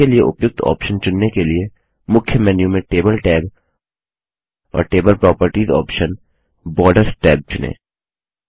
इसके लिए उपयुक्त ऑप्शन चुनने के लिए मुख्य मेन्यू में टेबल टैब और table properties option borders tab चुनें